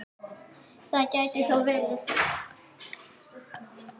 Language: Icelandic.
Það gæti þó verið.